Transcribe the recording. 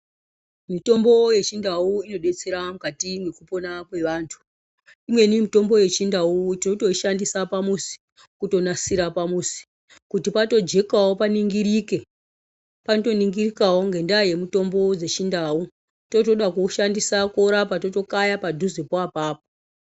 Mutombo yechindau inodetsera mukati mwekupona kwevantu. Imweni mitombo yechindau tinotoishandisa kuisa pamuzi, kutonasira pamuzi kuti patojekawo paningirike. Panotoningirikawo ngenda yemutombo dzechindau. Totode kuwushandisa korapa totoyaka padhuzepo apapo.